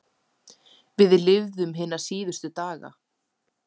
Við lifum hina síðustu daga.